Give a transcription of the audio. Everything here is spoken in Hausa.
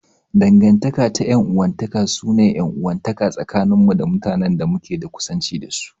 Dangantaka ta 'yan uwantaka su ne 'yan uwantaka tsakanin mu da mutanen da muke da kusanci da su.